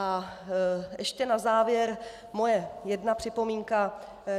A ještě na závěr moje jedna připomínka.